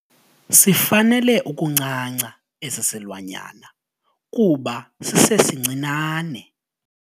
Sifanele ukuncanca esi silwanyana kuba sisesincinane.